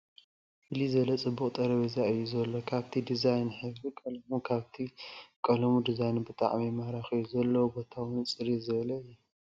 ፍልይ ዝበለ ፅቡቕ ጠረጴዛ እዩ ዘሎ ካብቲ ድዛይኑ ሕብሪ ቐለሙ ካብቲ ቐለሙ ድዛይኑ ብጣዕሚ ማራኺ እዩ ፡ ዘለዎ ቦታ'ውን ፅርይ ዝበለ እዩ ።